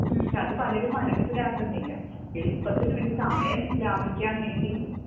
പക്ഷെ അത് പലരും മനസ്സിലാക്കുന്നില്ല എളുപ്പത്തിനു വേണ്ടിയും സമയം ലാ ഭിക്കാൻവേണ്ടിയും